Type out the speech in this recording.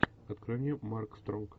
открой мне марк стронг